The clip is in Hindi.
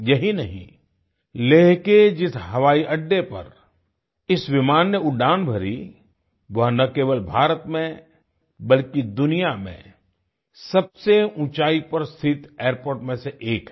यही नहीं लेह के जिस हवाई अड्डे पर इस विमान ने उड़ान भरी वह न केवल भारत में बल्कि दुनिया में सबसे ऊँचाई पर स्थित एयरपोर्ट में से एक है